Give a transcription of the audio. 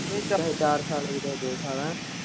ਚਾਹੇ ਚਾਰ ਸਾਲ ਹੋ ਚਾਹੇ ਦੋ ਸਾਲ ਹੈਅ।